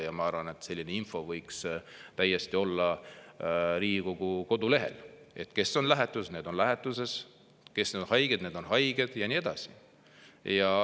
Ja ma arvan, et selline info võiks täiesti olla Riigikogu kodulehel: kes on lähetuses, need on lähetuses, kes on haiged, need on haiged, ja nii edasi.